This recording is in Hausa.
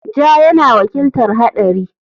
Ja yana wakiltar haɗari.